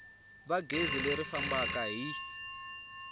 va gezi leri fambaka hi